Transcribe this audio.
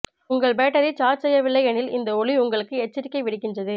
உங்கள் battery charge செய்யவில்லையெனில் இந்த ஒளி உங்களுக்கு எச்சரிக்கை விடுக்கின்றது